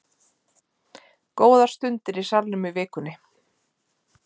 Góðar stundir í Salnum í vikunni